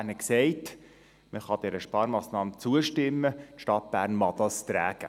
Die Stadt Bern sagte, man könne dieser Sparmassnahme zustimmen, die Stadt Bern möge sie tragen.